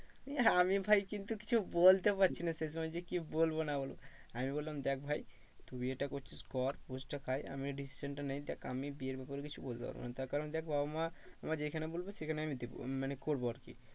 নিয়ে আমি ভাই কিন্তু কিছু বলতে পারছি না সেই সময় যে কি বলবো না বলবো। আমি বললাম দেখ ভাই তুই বিয়েটা করছিস কর টা খাই আমিও decision টা নিই। দেখ আমি বিয়ের ব্যাপারে কিছু বলতে পারবো না তার কারণ দেখ বাবা মা আমায় যেখানে বলবে সেইখানে দেবো মানে করবো আর কি